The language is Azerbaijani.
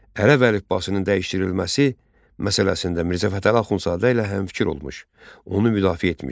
Ərəb əlifbasının dəyişdirilməsi məsələsində Mirzə Fətəli Axundzadə ilə həmfikir olmuş, onu müdafiə etmişdi.